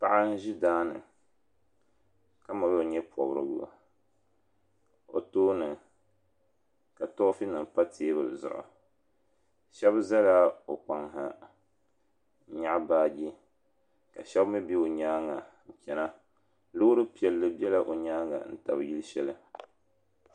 Paɣa n ʒi daani ka mali o nyɛ pobrigu o tooni ka toofi nima pa teebuli zuɣu Sheba zala o kpaŋ ha n nyaɣi baagi ka Sheba mi be o nyaanga n chena loori piɛlli be la o nyaanga n tabi yili sheli.